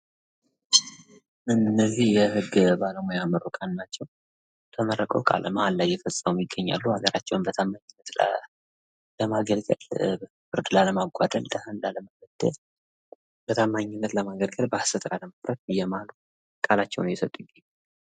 አነዚህ የህግ ባለሙያ ምሩቃን ናቸው ተመርቀው ቃለ መሃላ አየሰጡ። ሀገራቸውን በታማኝነት ለማግልገል፤ ፍትሕ ላለማጓደል ቃላቸውን አየሰጡ ይገኛሉ።